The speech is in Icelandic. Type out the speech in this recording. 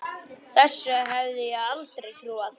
Þessu hefði ég aldrei trúað.